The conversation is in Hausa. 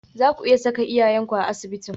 Zaku iya saka iyayenku a asibitin?